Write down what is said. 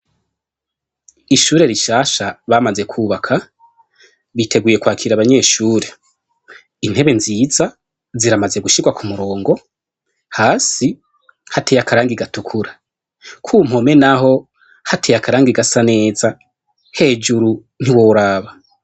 Ishure rishasha bamaze kubaka, biteguye kwakira abanyeshure, intebe nziza ziramaze gushirwa k'umurongo, hasi hateye akarangi gatukura, ku mpome naho hateye akarangi gasa neza hejuru ntiworaba.